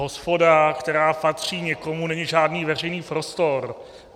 Hospoda, která patří někomu, není žádný veřejný prostor.